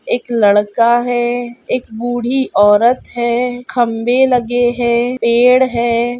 एक लड़का है एक बूढी औरत है खम्बे लगे हैं पेड़ है।